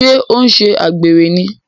Ṣé ọ n ṣe àgbèrè ní?